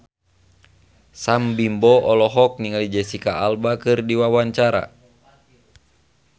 Sam Bimbo olohok ningali Jesicca Alba keur diwawancara